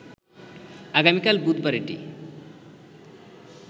আগামীকাল বুধবার এটি